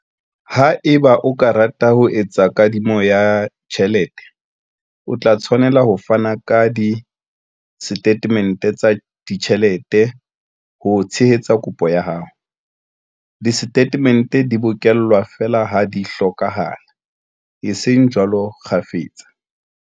Haeba o ka rata ho etsa kadimo ya tjhelete, o tla tshwanela ho fana ka disetatemente tsa ditjhelete ho tshehetsa kopo ya hao. Disetatemente di bokellwa feela ha di hlokahala, eseng jwalo kgafetsa.